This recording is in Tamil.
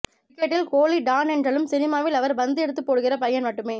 கிரிக்கெட்டில் கோலி டான் என்றாலும் சினிமாவில் அவர் பந்து எடுத்துப் போடுகிற பையன் மட்டுமே